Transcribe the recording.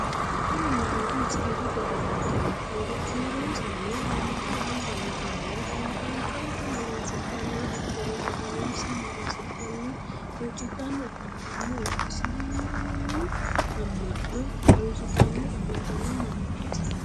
kuri mannoti mazigidu giddo afantanno. kiironsanni haamatu gamba yaatenni kaalaqaanchonsa magansidhanno hatono maganoonsa magansidhannina huuccidhanni afantanno isiliminnu amma'no harunsitanni afantanno mannaati.